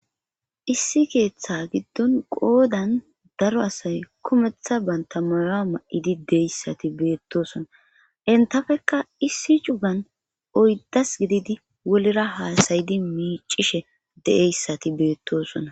Issi keeththa giddon qoodan daro asay kumeththa bantamara ma'idi deyssati beettosona entafekka issi cugan oyddas gididi wolra haasayidi miicishe de'eyssati beettosona.